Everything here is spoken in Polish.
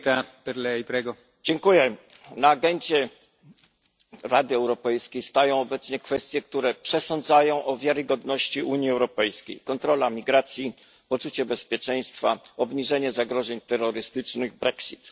Panie Przewodniczący! W programie Rady Europejskiej znajdują się obecnie kwestie, które przesądzają o wiarygodności Unii Europejskiej kontrola migracji, poczucie bezpieczeństwa, obniżenie zagrożeń terrorystycznych, Brexit.